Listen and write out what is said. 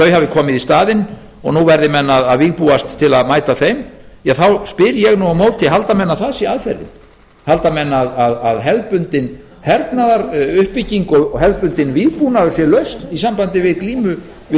þau hafi komið í staðinn og nú verði menn að vígbúast til að mæta þeim ja þá spyr ég nú á fari halda menn að það sé aðferðin halda menn að hefðbundin hernaðaruppbygging og hefðbundinn vígbúnaður sé lausn í sambandi við glímu við